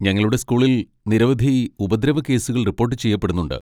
ഞങ്ങളുടെ സ്കൂളിൽ നിരവധി ഉപദ്രവക്കേസുകൾ റിപ്പോട്ട് ചെയ്യപ്പെടുന്നുണ്ട്.